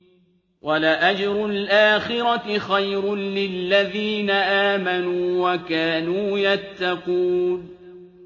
وَلَأَجْرُ الْآخِرَةِ خَيْرٌ لِّلَّذِينَ آمَنُوا وَكَانُوا يَتَّقُونَ